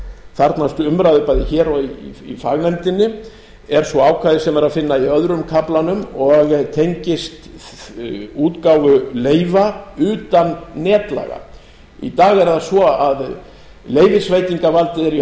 þarfnast umræðu bæði hér og í fagnefndinni er svo ákvæði sem er að finna í öðrum kaflanum og tengist útgáfu leyfa utan netlaga í dag er það svo að leyfisveitingarvaldið er í